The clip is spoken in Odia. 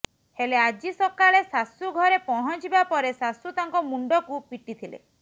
ହେଲେ ଆଜି ସକାଳେ ଶାଶୂ ଘରେ ପହଞ୍ଚିବା ପରେ ଶାଶୂ ତାଙ୍କ ମୁଣ୍ଡକୁ ପିଟିଥିଲେ